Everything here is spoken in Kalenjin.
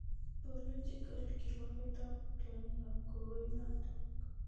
Biological kirwoogetap tyong'igap kokonat